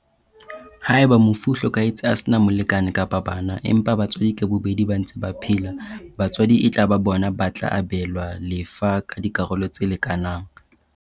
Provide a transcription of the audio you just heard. Haeba mofu o hlokahetse a sena molekane kapa bana, empa batswadi ka bobedi ba ntse ba phela, batswadi e tla ba bona ba tla abelwa lefa ka dikarolo tse leka nang.